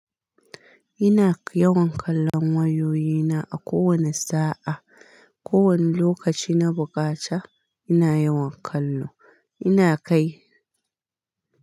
Ina yawan kallon wayoyina a kowane sa'a. Ko wani lokaci na bukata ina yawan kallo. Ina kai.